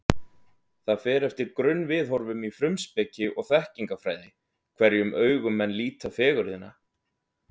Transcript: Það fer eftir grunnviðhorfum í frumspeki og þekkingarfræði, hverjum augum menn líta fegurðina.